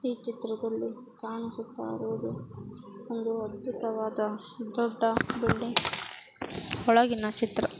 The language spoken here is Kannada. ಈ ಚಿತ್ರದಲ್ಲಿ ಕಾಣಿಸುತ್ತಾ ಇರುವುದು ಒಂದು ಅದ್ಭುತವಾದ ದೊಡ್ಡ ಬಿಲ್ಡಿಂಗ್ ಒಳಗಿನ ಚಿತ್ರ.